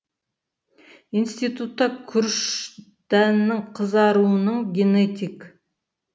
институтта күріш дәнінің қызаруының генетик